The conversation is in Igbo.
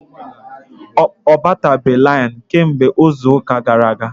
Ọ batabeghi lainụ kemgbe izuuka gara aga.